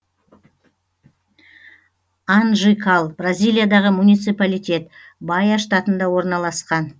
анжикал бразилиядағы муниципалитет баия штатында орналасқан